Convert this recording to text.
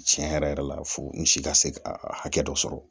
Tiɲɛ yɛrɛ yɛrɛ la fo n si ka se ka hakɛ dɔ sɔrɔ